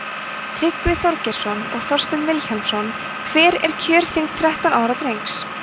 tryggvi þorgeirsson og þorsteinn vilhjálmsson hver er kjörþyngd þrettán ára drengs